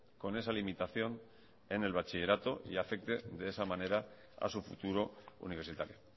con esa limitación en el bachillerato y afecte de esa manera a su futuro universitario